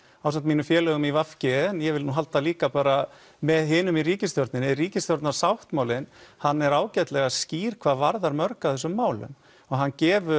ásamt mínum félögum í v g en ég vil nú halda líka bara með hinum í ríkisstjórninni ríkisstjórnarsáttmálinn hann er ágætlega skýr hvað varðar mörg af þessum málum og hann gefur